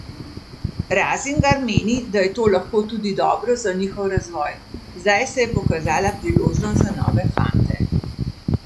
Razingar meni, da je to lahko tudi dobro za njihov razvoj: "Zdaj se je pokazala priložnost za nove fante.